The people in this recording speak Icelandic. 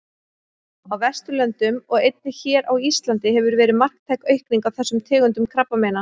Á Vesturlöndum og einnig hér á Íslandi hefur verið marktæk aukning á þessum tegundum krabbameina.